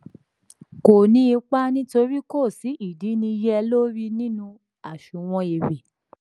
kò ní ipa nítorí kò sí ìdínniyẹlórí nínú àsunwon èrè.